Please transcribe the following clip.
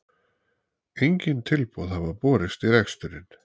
Engin tilboð hafa borist í reksturinn